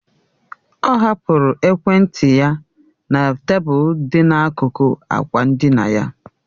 Ọ hapụrụ ekwentị ya na tebụl dị n'akụkụ ákwà ndina